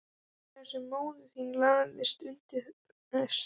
Þar sem móðir þín lagðist undir prest.